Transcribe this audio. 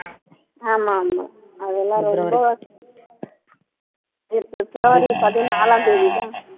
ஆமா ஆமா அதெல்லாம் ரொம்ப பிப் பிப்ரவரி பதினாலாம் தேதி தான்